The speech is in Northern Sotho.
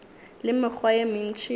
le mekgwa ye mentši ya